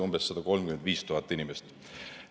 Neid on 135 000 inimest.